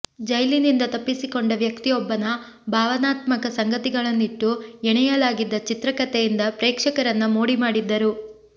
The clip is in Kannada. ಜೈಲಿನಿಂದ ತಪ್ಪಿಸಿಕೊಂಡ ವ್ಯಕ್ತಿಯೊಬ್ಬನ ಭಾವನಾತ್ಮಕ ಸಂಗತಿಗಳನ್ನಿಟ್ಟು ಎಣೆಯಲಾಗಿದ್ದ ಚಿತ್ರಕಥೆಯಿಂದ ಪ್ರೇಕ್ಷಕರನ್ನ ಮೋಡಿದ್ದರು